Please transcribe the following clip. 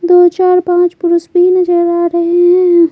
दो चार पांच पुरुष भी नजर आ रहे हैं।